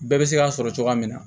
Bɛɛ bɛ se k'a sɔrɔ cogoya min na